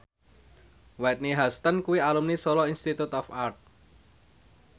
Whitney Houston kuwi alumni Solo Institute of Art